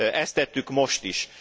Ezt tettük most is.